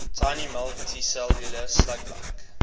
tiny multicellular slug like